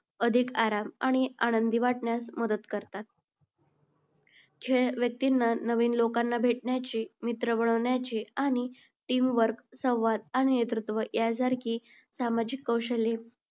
अधिक आराम आणि आनंदी वाटण्यास मदत करतात. खेळ व्यक्तींना नवीन लोकांना भेटण्याची, मित्र बनवण्याची आणि team work संवाद आणि नेतृत्व यासारखी सामाजिक कौशल्ये